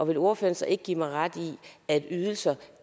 vil ordføreren så ikke give mig ret i at ydelser